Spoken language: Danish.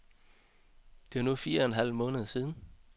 Det er nu fire en halv måned siden.